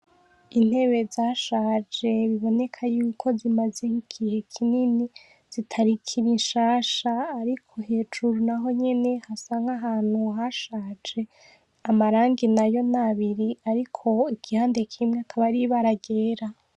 Intebe zashaje bibonekako zimaze igihe kinini zitakiri nshansha ariko hejuru nahonyene hasa nahantu hashaje amarangi nayo nabiri ariko igihande kimwe nibara ryera